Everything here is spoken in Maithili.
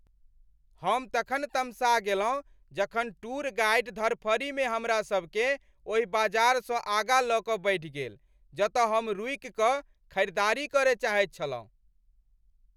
हम तखन तमसा गेलहुँ जखन टूर गाइड धरफरीमे हमरा सबकेँ ओहि बाजारसँ आगाँ लऽ कऽ बढ़ि गेल जत हम रूकि कऽ खरीदारी करय चाहैत छलहुँ।